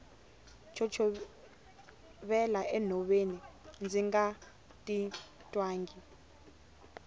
chochovela enhoveni ndzi nga titwangi